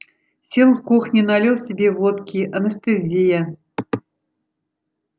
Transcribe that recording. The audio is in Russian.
сел в кухне налил себе водки анестезия